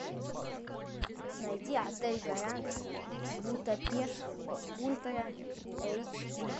найди отель гранд будапешт ультра эйч ди